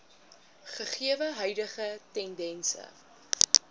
gegewe huidige tendense